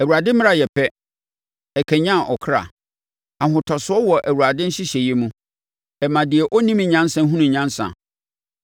Awurade mmara yɛ pɛ, ɛkanyane ɔkra no. Ahotosoɔ wɔ Awurade nhyehyɛeɛ mu, ɛma deɛ ɔnnim nyansa hunu nyansa.